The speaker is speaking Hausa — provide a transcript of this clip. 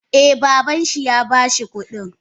Eh baban shi ya bashi kudin.